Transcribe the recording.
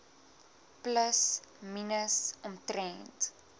plus minus omtrent